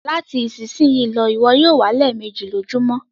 Lati isisiyi lọ, iwọ yoo wẹ lẹẹmeji lojumọ!